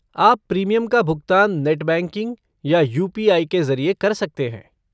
आप प्रीमियम का भुगतान नेट बैंकिंग या यू.पी.आई. के ज़रिए कर सकते हैं।